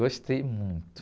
Gostei muito.